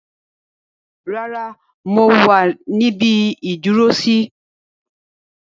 Rárá, mo wá ẹ níbi ìdúró sí.